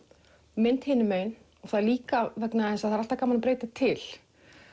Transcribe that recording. mynd hinum megin og líka vegna þess að það er alltaf gaman að breyta til